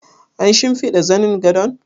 An shimfiɗa zanin gadon?